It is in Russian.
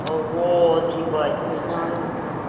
вот ебать не знаю